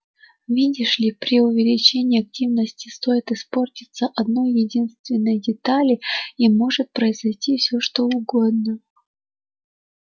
видишь ли при увеличении активности стоит испортиться одной-единственной детали и может произойти всё что угодно